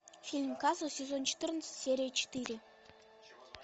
фильм касл сезон четырнадцать серия четыре